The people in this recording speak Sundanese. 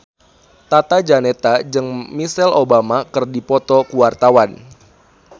Tata Janeta jeung Michelle Obama keur dipoto ku wartawan